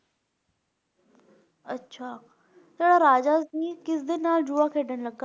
ਅੱਛਾ ਸਰ ਰਾਜਾ ਅਸੀਸ ਕਿਸਦੇ ਨਾਲ ਜੁਆ ਖੇਡਣ ਲੱਗਾ?